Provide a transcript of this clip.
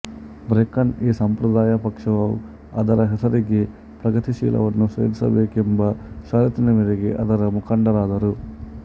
broken ಈ ಸಂಪ್ರದಾಯ ಪಕ್ಷವು ಅದರ ಹೆಸರಿಗೆ ಪ್ರಗತಿಶೀಲವನ್ನು ಸೇರಿಸಬೇಕೆಂಬ ಷರತ್ತಿನ ಮೇರೆಗೆ ಅದರ ಮುಖಂಡರಾದರು